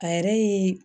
A yɛrɛ ye